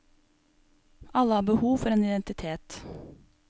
Alle har behov for en identitet.